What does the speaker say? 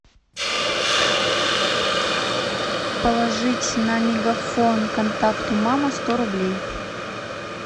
положить на мегафон контакту мама сто рублей